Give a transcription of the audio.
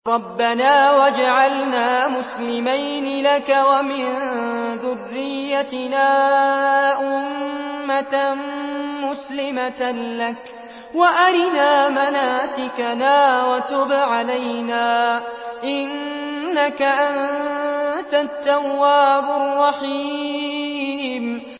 رَبَّنَا وَاجْعَلْنَا مُسْلِمَيْنِ لَكَ وَمِن ذُرِّيَّتِنَا أُمَّةً مُّسْلِمَةً لَّكَ وَأَرِنَا مَنَاسِكَنَا وَتُبْ عَلَيْنَا ۖ إِنَّكَ أَنتَ التَّوَّابُ الرَّحِيمُ